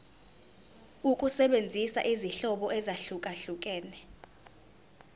ukusebenzisa izinhlobo ezahlukehlukene